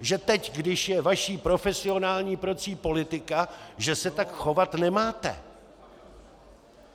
že teď, když je vaší profesionální prací politika, že se tak chovat nemáte?